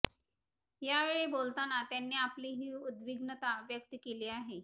यावेळी बोलताना त्यांनी आपली ही उद्विग्नता व्यक्त केली आहे